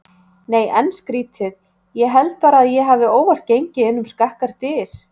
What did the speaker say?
Nei en skrítið ég held bara að ég hafi óvart gengið inn um skakkar dyr.